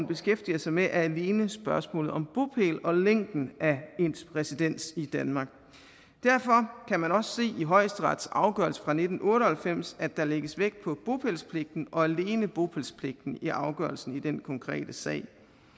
beskæftiger sig med er alene spørgsmålet om bopæl og længden af ens residens i danmark derfor kan man også i højesterets afgørelse fra nitten otte og halvfems at der lægges vægt på bopælspligten og alene bopælspligten i afgørelsen i den konkrete sag